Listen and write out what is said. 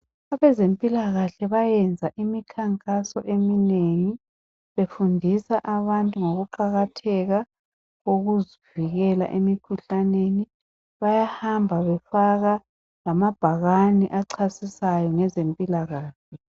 Abezempilakahle bayenza imikhankaso eminengi befundisa abantu ngokuqakatheka kokuzivikela emikhuhlaneni. Bayahamba befaka lamabhakane achasisayo ngezempilakahle.